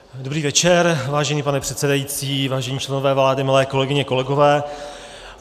Dobrý večer, vážený pane předsedající, vážení členové vlády, milé kolegyně, kolegové.